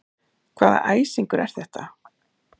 Hvaða æsingur er þetta?